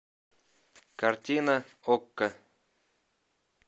картина окко